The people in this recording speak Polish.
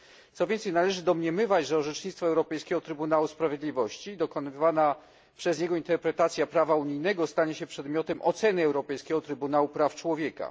Co więcej, należy domniemywać, że orzecznictwo Europejskiego Trybunału Sprawiedliwości, dokonywana przez niego interpretacja prawa unijnego, stanie się przedmiotem oceny Europejskiego Trybunału Praw Człowieka.